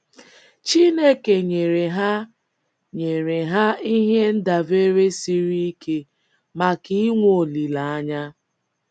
Chineke nyere ha nyere ha ihe ndabere siri ike maka inwe olileanya.